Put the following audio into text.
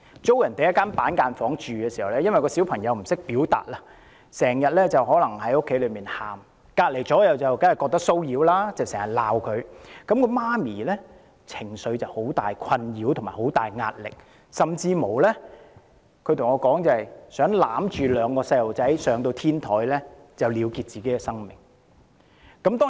他們租住板間房，由於小朋友不懂表達，因此可能經常在房間內哭泣，鄰居們當然覺得騷擾，經常責罵他，令到母親在情緒上受到極大困擾及壓力，她甚至對我說她想抱着兩個小朋友到天台了結生命。